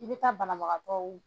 I bɛ ka banabagatɔw.